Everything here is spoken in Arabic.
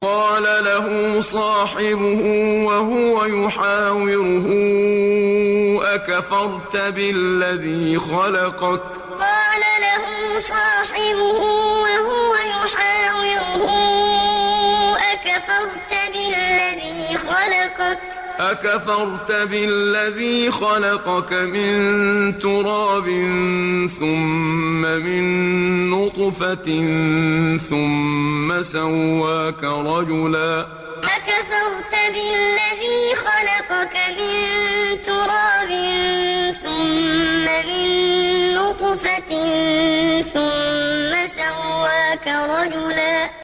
قَالَ لَهُ صَاحِبُهُ وَهُوَ يُحَاوِرُهُ أَكَفَرْتَ بِالَّذِي خَلَقَكَ مِن تُرَابٍ ثُمَّ مِن نُّطْفَةٍ ثُمَّ سَوَّاكَ رَجُلًا قَالَ لَهُ صَاحِبُهُ وَهُوَ يُحَاوِرُهُ أَكَفَرْتَ بِالَّذِي خَلَقَكَ مِن تُرَابٍ ثُمَّ مِن نُّطْفَةٍ ثُمَّ سَوَّاكَ رَجُلًا